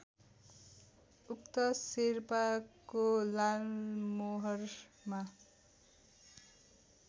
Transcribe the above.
उक्त शेर्पाको लालमोहरमा